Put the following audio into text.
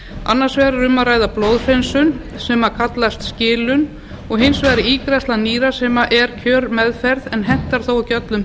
annars er um að ræða blóðhreinsun sem kallast skilun og hins vegar ígræðsla nýra sem er kjörmeðferð en hentar þó ekki öllum